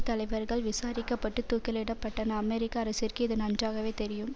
தலைவர்கள் விசாரிக்க பட்டு தூக்கிலிடப்பட்டன அமெரிக்க அரசிற்கு இது நன்றாகவே தெரியும்